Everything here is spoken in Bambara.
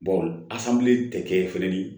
asamili tɛ kɛ fɛnɛ ni